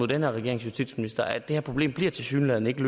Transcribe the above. den her regerings justitsministre viser at det her problem tilsyneladende ikke